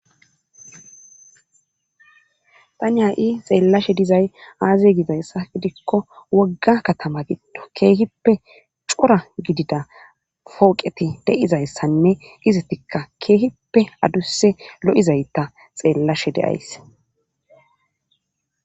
tani ha7i xeellashe dizay aaze gidayssa idikko wogga katama giddo keehippe cora gidida fooqeti de7izayssanne izatikka keehippe adusse lo7izayta xeellashe deyays